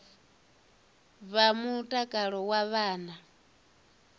vha mutakalo wa vhana na